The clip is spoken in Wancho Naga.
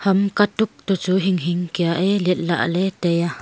ama katuk to chu hinghing kia ee let la ee taiya.